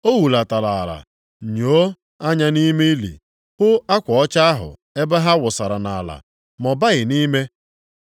O hulatara ala, nyoo anya nʼime ili, hụ akwa ọcha ahụ ebe ha wụsara nʼala, ma ọ baghị nʼime.